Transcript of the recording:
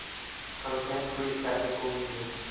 contemporary classical music